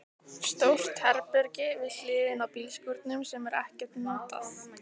Stórt herbergi við hliðina á bílskúrnum sem er ekkert notað.